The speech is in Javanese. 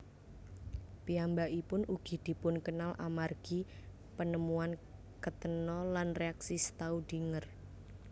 Piyambakipun ugi dipunkenal amargi penemuan ketena lan reaksi Staudinger